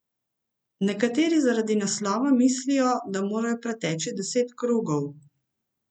Nekateri zaradi naslova mislijo, da morajo preteči deset krogov.